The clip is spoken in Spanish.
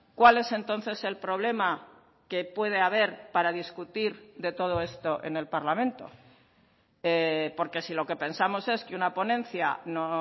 cuál es entonces el problema que puede haber para discutir de todo esto en el parlamento porque si lo que pensamos es que una ponencia no